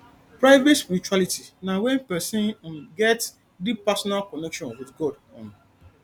private spirituality na when persin um get deep personal connection with god um